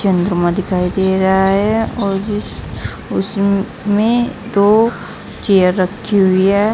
चंद्रमा दिखाई दे रहा है और उस उसमें दो चेयर रखी हुई है।